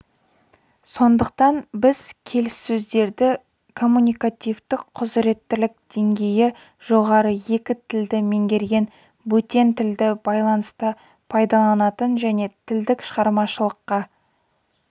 сондықтан біз келіссөздерді коммуникативтік құзыреттілік деңгейі жоғары екі тілді меңгерген бөтен тілді байланыста пайдаланатын және тілдік шығармашылыққа